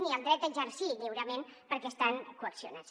ni el dret a exercir lliurement perquè estan coaccionats